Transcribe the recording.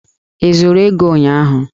I zuru ego ụnyahụ!